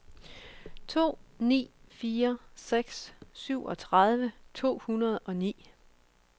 to ni fire seks syvogtredive to hundrede og ni